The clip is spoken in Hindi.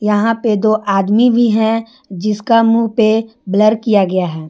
यहां पे दो आदमी भी हैं जिसका मुंह पे ब्लर किया गया है।